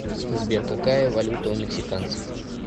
сбер какая валюта у мексиканцев